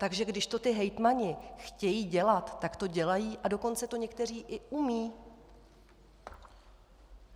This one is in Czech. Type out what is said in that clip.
Takže když to ti hejtmani chtějí dělat, tak to dělají, a dokonce to někteří i umějí.